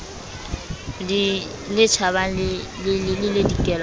le tjhabang le le dikelang